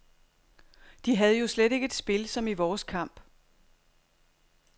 De havde jo slet ikke et spil som i vores kamp.